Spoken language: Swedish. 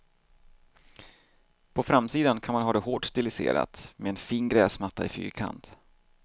På framsidan kan man ha det hårt stiliserat, med en fin gräsmatta i fyrkant.